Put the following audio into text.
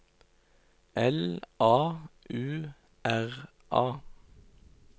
L A U R A